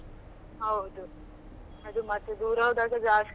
ಹೌದು ಅದು ಮತ್ತೆ ದೂರ ಹೋದಾಗ ಜಾಸ್ತಿ.